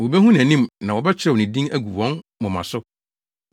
Wobehu nʼanim na wɔbɛkyerɛw ne din agu wɔn moma so.